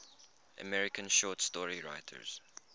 american short story writers